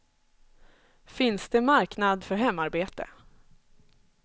Finns det marknad för hemarbete?